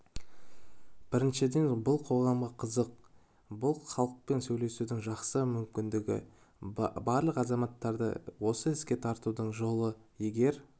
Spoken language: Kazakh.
біріншіден бұл қоғамға қызық бұл халықпен сөйлесудің жақсы мүмкіндігі барлық азаматтарды осы іске тартудың жолы егер